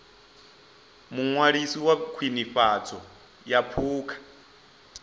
muṅwalisi wa khwinifhadzo ya phukha